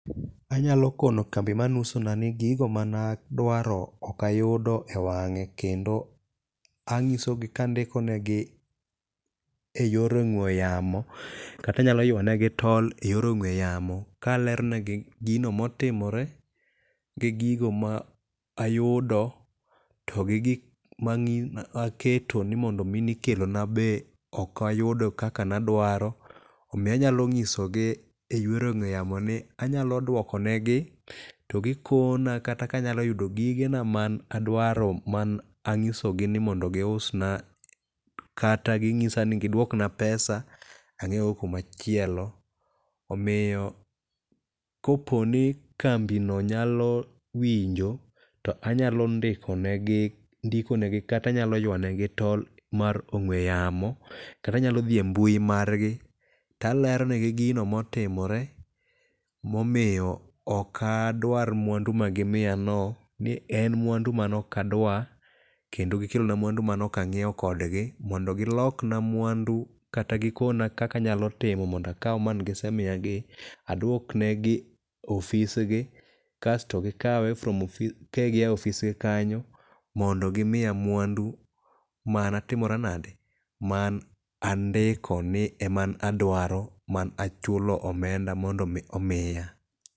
Anyalo kono kambi mane uso na ni gigo mane adwaro ok ayudo e wang'e. Kendo anyisogi kandikonegi e yor ong'we yamo kata anyalo ywa ne gi tol e yor ong'we yamo kaleronegi gi gino motimore gi gigo ma ayudo to gi gik maketo nimondo mi ni kelona be ok ayudo kaka nadwaro. Omiyo anyalo nyisogi e yor ong'we yamo ni anyalo dwokonegi togikona kata kanyaloyudo gigena man adwaro man anyisogi ni mond giusna kata ginyisa ni gidwokna pesa ang'iew go kuma chielo. Omiyo kopo ni kambi no nyalo winjo to anyalo ndikonegi kata anyalo ywa ne gi tol mar ong'we yamo. Kata anyalo dhi e mbui margi to aleronegi gino motimore momiyo ok adwar mwandu ma gimiya no. Ni en mwandu man ok adwar. Kendo gikelonamwandu manok ang'iew kodgi. Mondo gilok na mwandu kata gikona kaka anyalo timo mondo akwa man gisemiya gi adwok ne gi ofisgi. Kaesto gikawe ka ginyawo ofisgi kanyo mondo gimiya mwandu mane atimoranade? Man andiko ni eman adwaro man achulo omenda mondo mi omiya.